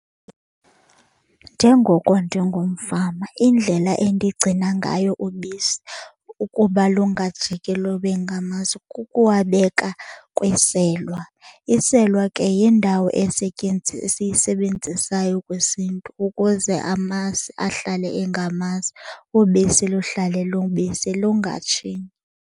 Njengoko ndingumfama indlela endigcina ngayo ubisi ukuba lungajiki lube ngamasi kukuwabeka kwiselwa. Iselwa ke yindawo esiyisebenzisayo kwisiNtu ukuze amasi ahlale engamasi, ubisi luhlale lubisi lungatshintshi.